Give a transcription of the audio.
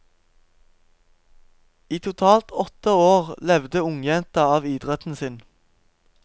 I totalt åtte år levde ungjenta av idretten sin.